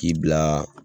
K'i bila